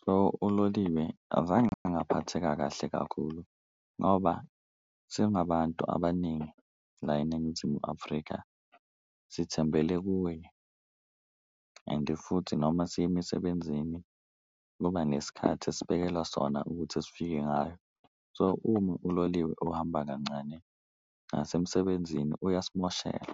So, uloliwe azange ngaphatheka kahle kakhulu ngoba singabantu abaningi la eNingizimu Afrika sithembele kuwe, ende futhi noma siya emisebenzini kuba ngesikhathi esibekelwa sona ukuthi esifike ngayo. So, uma uloliwe uhamba kancane nasemsebenzini uyasimoshela.